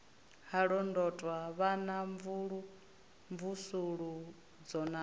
ha londotwa vhana mvusuludzo na